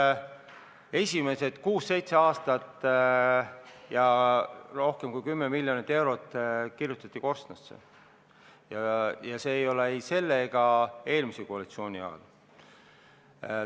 Kahjuks kirjutati esimesed kuus-seitse aastat ja rohkem kui 10 miljonit eurot korstnasse ja see ei olnud ei selle ega eelmise koalitsiooni ajal.